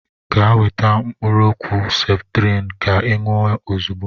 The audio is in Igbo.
Gaa weta mkụrụ ọkwụ septrin ka i nwụọ ọzigbọ!!!!!